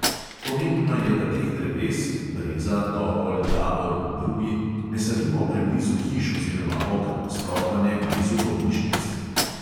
Pomembno je, da teh dreves (breza, topol, javor in drugi) ne sadimo preblizu hiš oziroma oken, sploh pa ne blizu bolnišnic.